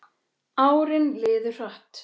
Árin liðu hratt.